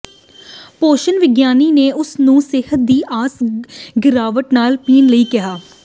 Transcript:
ਪੋਸ਼ਣ ਵਿਗਿਆਨੀ ਨੇ ਉਸ ਨੂੰ ਸਿਹਤ ਦੀ ਆਮ ਗਿਰਾਵਟ ਨਾਲ ਪੀਣ ਲਈ ਕਿਹਾ